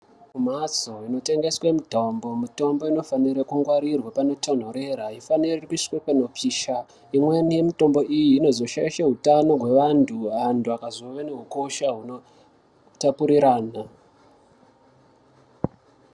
Ku mhatso ino tengeswe mitombo mitombo ino fanira ku ngwarirwa pano tonhorera aifaniri kuiswa pano pisha imweni ye mutombo iyi inozo shaishe hutano hwe vantu antu akazo one hukosha huno tapurirana.